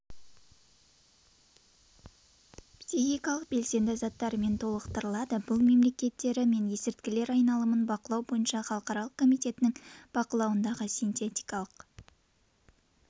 психикалық белсенді заттармен толықтырылады бұл мемлекеттері мен есірткілер айналымын бақылау бойынша халықаралық комитетінің бақылауындағы синтетикалық